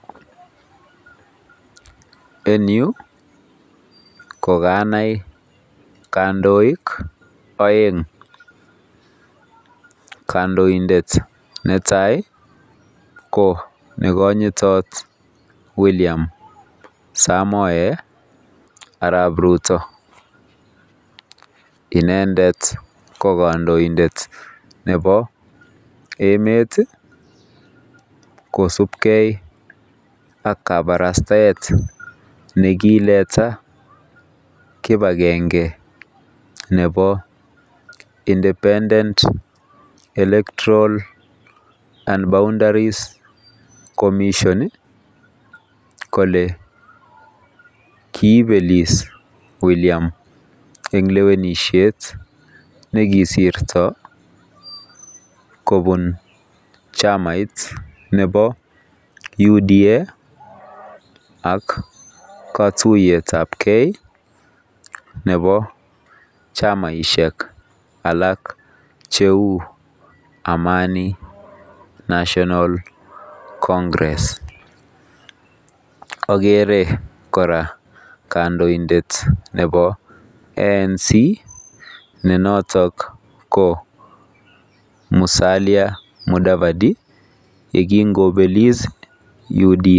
En yu ko kanai kandoik aeng. Kandoindet netai ko nekonyitot William Somoe Arap Rutto. Inendet kondoindet nebob emet kosupkei ak kapbarastaet nekileta kibakenge nebo IEBC kole kiibelis William eng lewenisiet nekisirto kobun chamait nebo UDA ak katuyetab ke nebo chamaisiek alak cheu AMANI NATIONAL CONGRESS. Agere kora kandoindet nebo ANC ne notok ko Musalia Mudavadi ye kin kobelis UDA